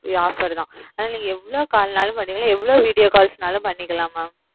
இது உங்களுக்கு offer எவ்ளோ call பண்ணுங்க எவ்ளோ video வேண்ணாலும் பண்ணுங்க